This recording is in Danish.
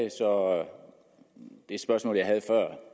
og det spørgsmål jeg havde